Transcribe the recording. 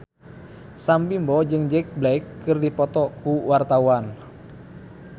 Sam Bimbo jeung Jack Black keur dipoto ku wartawan